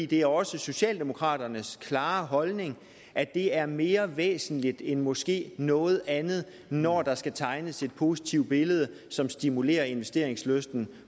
det er også socialdemokraternes klare holdning at det er mere væsentligt end måske noget andet når der skal tegnes et positivt billede som stimulerer investeringslysten